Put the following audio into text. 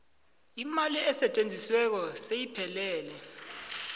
imali esetjenzisiweko seyiphelele